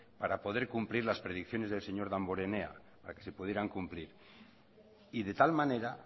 para poder cumplir las predicciones del señor damborenea para que se pudieran cumplir y de tal manera